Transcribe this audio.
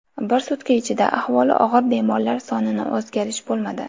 Bir sutka ichida ahvoli og‘ir bemorlar sonida o‘zgarish bo‘lmadi.